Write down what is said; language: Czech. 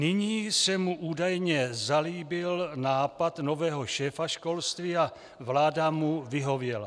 Nyní se mu údajně zalíbil nápad nového šéfa školství a vláda mu vyhověla.